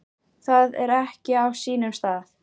Það er ekki á sínum stað.